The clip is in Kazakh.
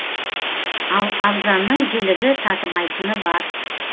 ал арзанның жілігі татымайтыны бар